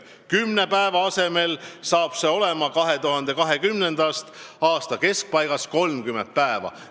Kümne päeva asemel saab see olema 2020. aasta keskpaigast 30 päeva.